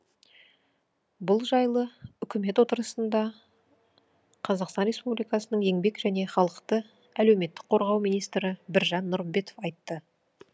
бұл жайлы үкімет отырысында қазақстан республикасының еңбек және халықты әлеуметтік қорғау министрі біржан нұрымбетов айтты